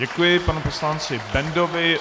Děkuji panu poslanci Bendovi.